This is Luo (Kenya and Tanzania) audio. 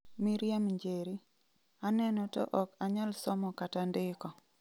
Miriam Njeri:Aneno to ok anyal somo kata ndiko.